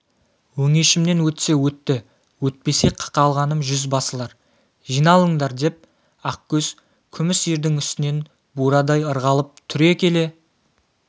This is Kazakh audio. өңешімнен өтсе өтті өтпесе қақалғаным жүзбасылар жиналыңдар деп ақкөз күміс ердің үстінен бурадай ырғалып түре келе